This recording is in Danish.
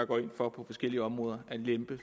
går ind for på forskellige områder at lempe